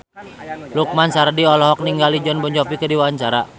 Lukman Sardi olohok ningali Jon Bon Jovi keur diwawancara